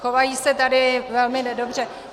Chovají se tady velmi nedobře.